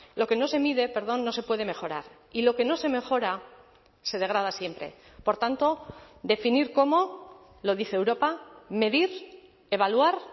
lo que no se mide perdón no se puede mejorar y lo que no se mejora se degrada siempre por tanto definir cómo lo dice europa medir evaluar